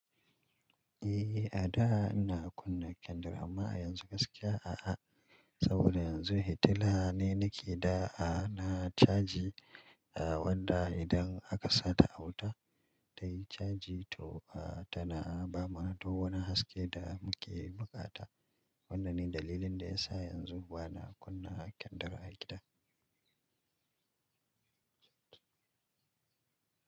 Eh, a da ina kunna kendir amma a yanzu gaskiya aa. Saboda yanzu hitila ne nake da a na caji, a wanda idan aka sa ta a wuta tayi caji to a tana bamu duk wani haske da muke buƙata. Wannan ne dalilin da ya sa yanzu ba na kunna kendir a gida.